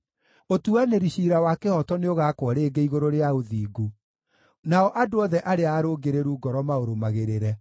Ũtuanĩri ciira wa kĩhooto nĩũgakwo rĩngĩ igũrũ rĩa ũthingu, nao andũ othe arĩa arũngĩrĩru ngoro maũrũmagĩrĩre.